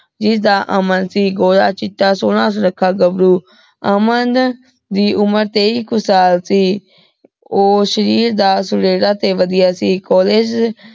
ਜਿਦਾਂ ਅਮਨ ਸਿੰਘ ਗੋਰਾ ਚਿਤਾ ਸੋਹਨਾ ਸੁਨਾਖਾ ਗਬਰੂ ਅਮਨ ਦੀ ਉਮਰ ਤੇਈ ਕੋ ਸਾਲ ਸੀ ਊ ਸ਼ਾਰੇਰ ਦਾ ਸੁਨੇਹਾ ਤੇ ਵਧੀਆ ਸੀ college